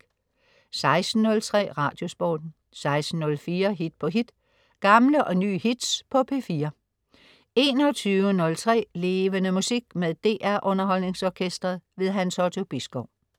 16.03 Radiosporten 16.04 Hit på hit. Gamle og nye hits på P4 21.03 Levende Musik. Med DR Underholdningsorkestret. Hans Otto Bisgaard